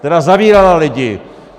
Která zavírala lidi!